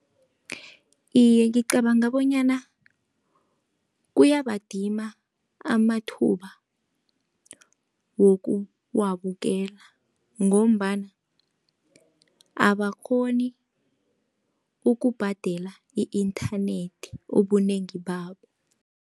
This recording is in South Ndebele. Iye, ngicabanga bonyana kuyabadima amathuba wokuwabukela, ngombana abakghoni ukubhadela i-inthanethi ubunengi babo.